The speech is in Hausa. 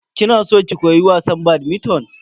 Kina san ki koyi wasan "badminton"?